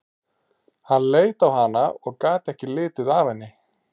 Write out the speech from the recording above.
Hann leit á hana og gat ekki litið af henni.